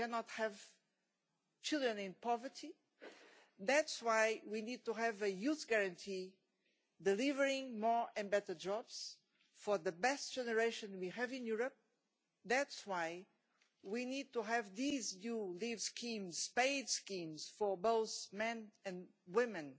We cannot have children in poverty. That is why we need to have a Youth Guarantee delivering more and better jobs for the best generation we have in Europe. That is why we need to have these new leave schemes, paid schemes, for both men and women